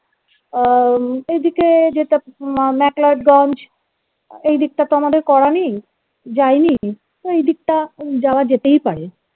আহ এইদিকে যেটা MCLeod ganj এইদিকতা তো আমাদের করা নেই যায়নি তো এইদিকটা যাওয়া যেতেই পারে